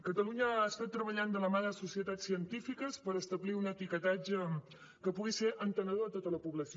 catalunya ha estat treballant de la mà de societats científiques per establir un etiquetatge que pugui ser entenedor a tota la població